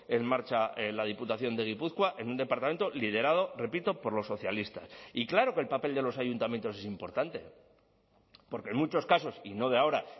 en marcha la diputación de gipuzkoa en un departamento liderado repito por los socialistas y claro que el papel de los ayuntamientos es importante porque en muchos casos y no de ahora